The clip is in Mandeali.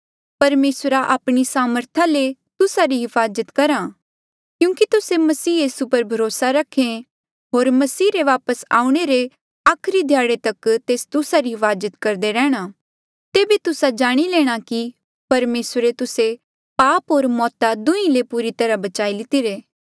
परमेसरा आपणी सामर्था ले तुस्सा री हिफाजत करहा क्यूंकि तुस्से मसीह यीसू पर भरोसा रखे होर मसीह रे वापस आऊणें रे आखरी ध्याड़े तक तेस तुस्सा री हिफाजत करदे रैहणा तेबे तुस्सा जाणी लेणा कि परमेसरे तुस्से पाप होर मौता दुहीं ले पूरी तरहा बचाई लितिरे